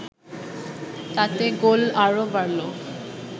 তাতে গোল আরও বাড়ল